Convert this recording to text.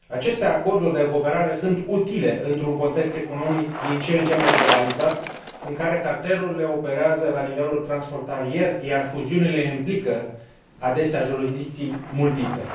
Aceste acorduri de cooperare sunt utile într un context economic din ce în ce mai globalizat, în care cartelurile operează la nivel transfrontalier, iar fuziunile implică adesea jurisdicții multiple.